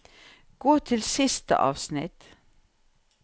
Gå til siste avsnitt